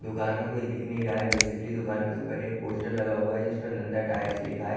दुकान में कोई दिख नहीं रहा है बेसिकली दुकान के ऊपर एक पोस्टर लगा हुआ है जिसमें नंदा टायर्स लिखा हैं।